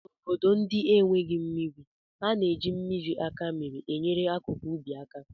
N'obodo ndị enweghị mmiri, a na-eji mmiri akamere enyere akụkụ ubi aka